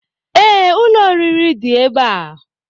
Ee, ụlọ oriri dị ebe a